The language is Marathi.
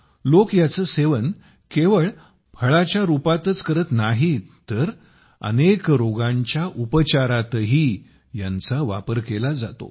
लोक याचे सेवन केवळ फळाच्या रूपातच करत नाहीत तर अनेक रोगांच्या उपचारातही यांचा वापर केला जातो